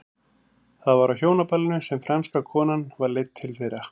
Það var á hjónaballinu sem franska konan var leidd til þeirra.